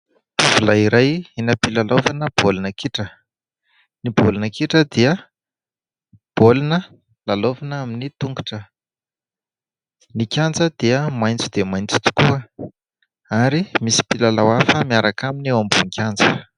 Tovolahy iray eny ampilalaovana baolina kitra, ny baolina kitra dia baolina lalaovina amin'ny tongotra, ny kanja dia maitso dia maitso tokoa ary misy mpilalao hafa miaraka aminy eo ambony kianja.